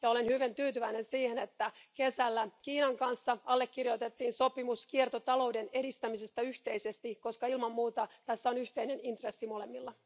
Olen hyvin tyytyväinen siihen, että kesällä Kiinan kanssa allekirjoitettiin sopimus kiertotalouden edistämisestä yhteisesti, koska ilman muuta tässä on yhteinen intressi molemmilla.